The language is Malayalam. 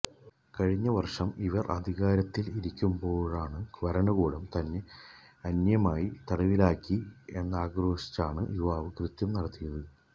കഴിഞ്ഞ വര്ഷം ഇവര് അധികാരത്തില് ഇരിക്കുമ്പോള് ഭരണകൂടം തന്നെ അന്യായമായി തടവിലാക്കി എന്നാക്രോശിച്ചാണ് യുവാവ് കൃത്യം നടത്തിയത്